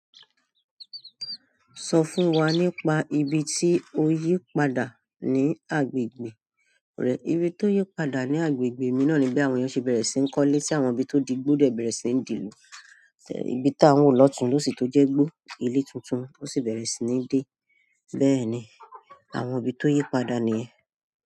Sọ fún wa nípa ibi tí o yí padà ní agbègbè rẹ. Ibi tó yí padà ní agbègbè mi náà ni bí àwọn ènìyàn ṣe bẹ̀rẹ̀ sí n kọ́lé tí àwọn ibi tó di gbó bẹ̀rẹ̀ sí ní di ìlú. Ibi tá ń wọ́n lọ́tùn ló sì tó jẹ́ gbó, ilé tuntun ó sì bẹ̀rẹ̀ sí ní dé. Bẹ́ẹ̀ ni, àwọn ibi tó yí padà nìyẹn.